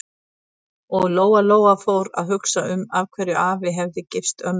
Og Lóa-Lóa fór að hugsa um af hverju afi hefði gifst ömmu.